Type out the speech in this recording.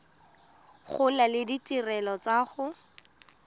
gola le ditirelo tsa go